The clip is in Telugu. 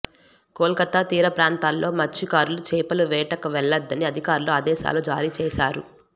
కోల్కతా తీరప్రాంతాల్లో మత్స్యకారులు చేపల వేటకు వెళ్లొద్దని అధికారులు ఆదేశాలు జారీచేశారు